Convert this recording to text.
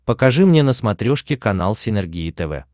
покажи мне на смотрешке канал синергия тв